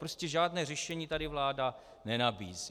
Prostě žádné řešení tady vláda nenabízí.